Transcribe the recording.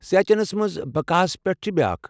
سیاچنس منٛز بقا ہس پیٹھ تہِ چھِ بیاكھ ۔